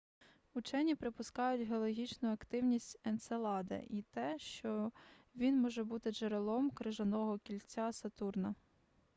учені припускають геологічну активність енцелада й те що він може бути джерелом крижаного кільця сатурна